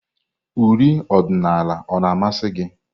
uri ọdịnala o na-amasị gị?